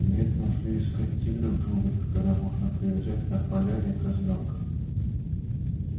нет нужды искать тигра в джунглях когда можно привязать на поляне козлёнка